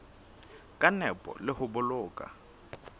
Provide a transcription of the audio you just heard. ka nepo le ho boloka